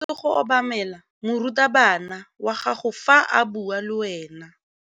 O tshwanetse go obamela morutabana wa gago fa a bua le wena.